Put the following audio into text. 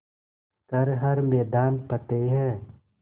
कर हर मैदान फ़तेह